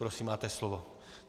Prosím, máte slovo.